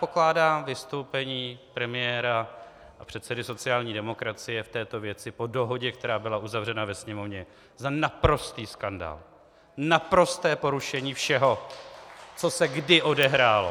Pokládám vystoupení premiéra a předsedy sociální demokracie v této věci po dohodě, která byla uzavřena ve Sněmovně, za naprostý skandál, naprosté porušení všeho, co se kdy odehrálo.